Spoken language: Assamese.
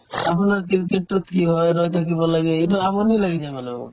আপোনাৰ cricket টোত কি হয় ৰৈ থাকিব লাগে এইটো আমনি লাগি যায় মানে মোৰ